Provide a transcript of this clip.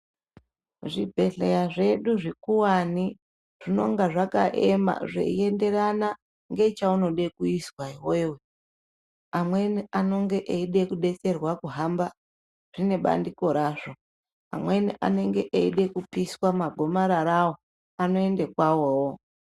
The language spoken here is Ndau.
Zvibhedhlera zvedu zvikuwani zvinenga zvakaema zveyienderana nechaunoda kuizwa iwewe amweni anonge kudetserwa kuhamba zvine bandiko razvo amweni anenge eyida kupiswa magomarara awo anoenda kwavowo.